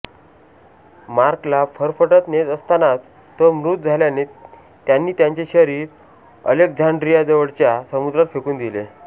मार्कला फरफटत नेत असतानाच तो मृत झाल्याने त्यांनी त्याचे शरीर अलेक्झांड्रियाजवळच्या समुद्रात फेकून दिले